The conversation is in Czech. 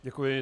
Děkuji.